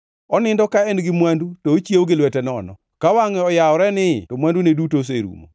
Onindo ka en gi mwandu, to ochiewo gi lwete nono; ka wangʼe yawore nii to mwandune duto oserumo.